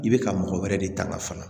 I bɛ ka mɔgɔ wɛrɛ de ta ka fana